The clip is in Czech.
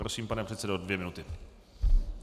Prosím, pane předsedo, dvě minuty.